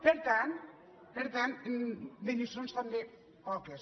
per tant de lliçons també poques